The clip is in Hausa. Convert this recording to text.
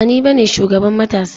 Ba ni bane shugaban matasa ba.